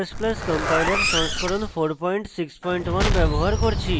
g ++ compiler সংস্করণ 461 ব্যবহার করছি